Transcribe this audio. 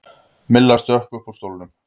Milla stökk upp úr stólnum.